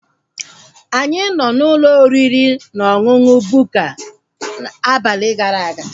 Anyị nọ n'ụlọ oriri na ọṅụṅụ Bukka abalị gara aga